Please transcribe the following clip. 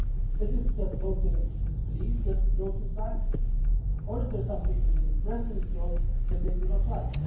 Is it that voters disbelieve that growth is back, or is there something within the present growth that they do not like?